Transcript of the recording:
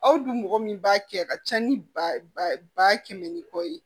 Aw dun mɔgɔ min b'a kɛ a ka ca ni ba kɛmɛ ni kɔ ye